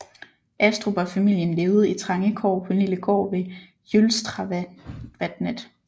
Astrup og familien levede i trange kår på en lille gård ved Jølstravatnet